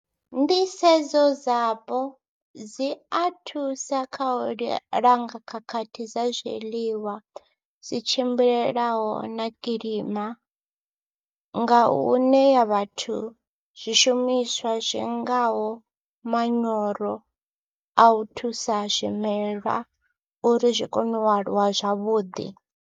Nḓisedzo dzapo dzi a thusa kha u langa khakhathi dza zwiḽiwa dzi tshimbilelaho na kilima nga u ṋea vhathu zwishumiswa zwi ngaho manyoro a u thusa zwimelwa uri zwi kone u aluwa zwavhuḓi.